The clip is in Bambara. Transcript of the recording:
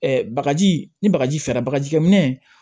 bagaji ni bagaji fɛrɛ bagaji kɛ minɛ